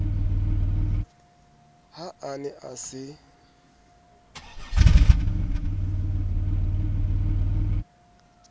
ha a ne a se